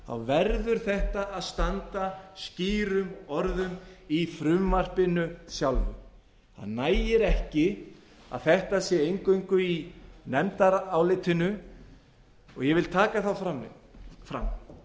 virt verður þetta að standa skýrum orðum í frumvarpinu sjálfu það nægir ekki að þetta sé eingöngu í nefndarálitinu og ég vil taka það fram